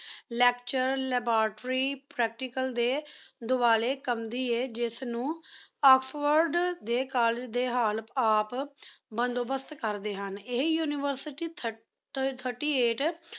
lecture laboratory practical ਡੀ ਦੁਆਲ੍ਯ ਕਾਮਰੀ ਆਯ ਜਿਸ ਨੂ ਏਕ੍ਸ੍ਫੋੜੇ ਡੀ ਕੋਲ੍ਲੇਗੇ ਡੀ Oxford ਆਪ ਬੰਦੁ ਬਸ੍ਤ ਕਰਦੀ ਹੁਣ ਇਹੀ university thirty eight